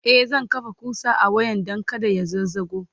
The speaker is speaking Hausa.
e zan kafa ƙusa a wayan Dan kada ya zazzago